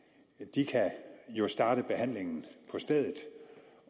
de kan jo starte behandlingen på stedet